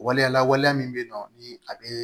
Waleya la waleya min bɛ yen nɔ ni a bɛ